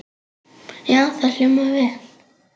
Já, það hljómar vel.